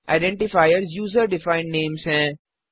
identifiers user defined names हैं